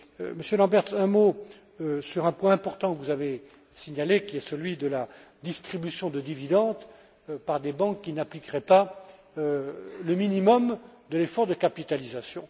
Monsieur Lamberts, un mot sur un point important que vous avez signalé, qui est celui de la distribution de dividendes par des banques qui n'appliqueraient pas le minimum de l'effort de capitalisation.